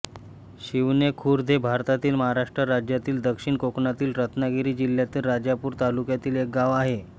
शिवणे खुर्द हे भारतातील महाराष्ट्र राज्यातील दक्षिण कोकणातील रत्नागिरी जिल्ह्यातील राजापूर तालुक्यातील एक गाव आहे